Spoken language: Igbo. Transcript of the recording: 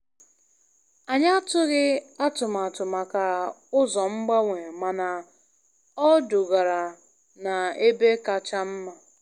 Anyị atụghị atụmatụ maka ụzọ mgbanwe, mana ọ dugara na ebe kacha mma.